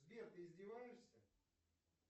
сбер ты издеваешься